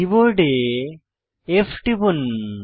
কীবোর্ডে F টিপুন